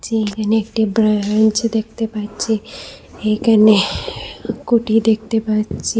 এইখানে একটি ব্রাঞ্চ দেখতে পাচ্চি এইখানে কুঠি দেখতে পাচ্ছি।